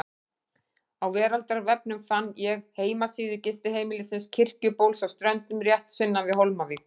Á veraldarvefnum fann ég heimasíðu gistiheimilisins Kirkjubóls á Ströndum, rétt sunnan við Hólmavík.